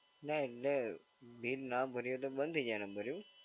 ના એટલે બિલ ના ભરીએ એટલે બંધ થઈ જાય નંબર એવું?